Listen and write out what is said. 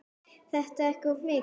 Er það ekki of mikið?